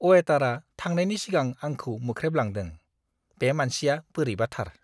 अवेटारआ थांनायनि सिगां आंखौ मोख्रेबलांदों। बे मानसिया बोरैबाथार।